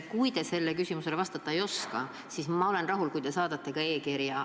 Kui te sellele küsimusele vastata ei oska, siis ma olen rahul, kui te saadate e-kirja.